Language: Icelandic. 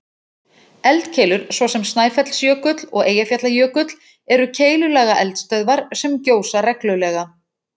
Eldkeilur, svo sem Snæfellsjökull og Eyjafjallajökull, eru keilulaga eldstöðvar sem gjósa reglulega.